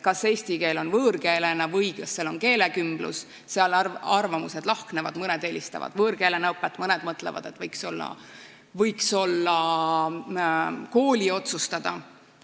Kas eesti keelt õpitakse võõrkeelena või on koolis keelekümblus, selles asjas arvamused lahknevad, mõned eelistavad võõrkeelena õppimist, mõned mõtlevad, et see võiks olla kooli otsustada.